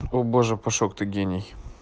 о боже пашок ты гений